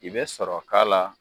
I bɛ sɔrɔ k'a la.